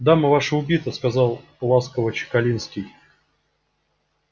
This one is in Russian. дама ваша убита сказал ласково чекалинский